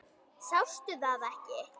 Sástu það ekki?